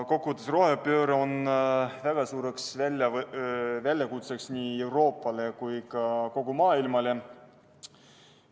Üldiselt on rohepööre väga suur väljakutse nii Euroopale kui ka kogu maailmale.